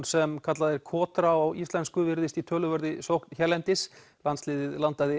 sem kallað er kotra á íslensku virðist í töluverðri sókn hérlendis landsliðið landaði